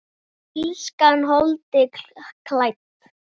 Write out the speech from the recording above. Illskan holdi klædd?